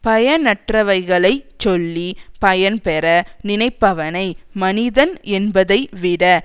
பயனற்றவைகளை சொல்லி பயன்பெற நினைப்பவனை மனிதன் என்பதைவிட